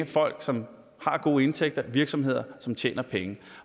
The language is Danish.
folk som har gode indtægter og virksomheder som tjener penge